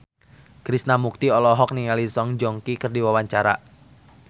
Krishna Mukti olohok ningali Song Joong Ki keur diwawancara